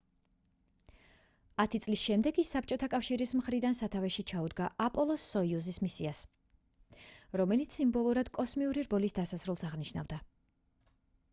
ათი წლის შემდეგ იგი საბჭოთა კავშირის მხრიდან სათავეში ჩაუდგა აპოლო-სოიუზის მისიას რომელიც სიმბოლურად კოსმიური რბოლის დასასრულს აღნიშნავდა